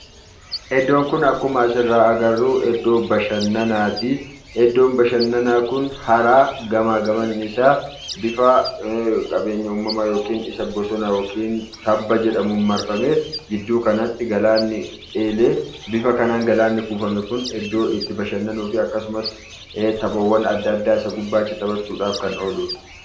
Iddoon Kun akkuma asirraa agarru, iddoo bashannanaati. Iddoon bashannanaa kun hara gamaa gamanni isaa bifa qabeenya umamaa yookiin bifa bosona yookiin tabba jedhamuun marfamee gidduu kanatti galaanni eelee bifa kanaan galaanni kuufame iddoo itti bashannanuu fi akkasumas taphaawwan addaa addaa isa gubbaatti taphachuudhaaf kan ooludha.